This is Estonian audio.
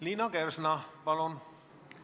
Liina Kersna, palun!